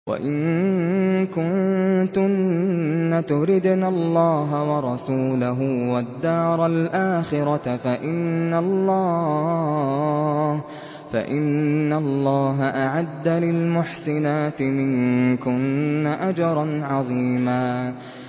وَإِن كُنتُنَّ تُرِدْنَ اللَّهَ وَرَسُولَهُ وَالدَّارَ الْآخِرَةَ فَإِنَّ اللَّهَ أَعَدَّ لِلْمُحْسِنَاتِ مِنكُنَّ أَجْرًا عَظِيمًا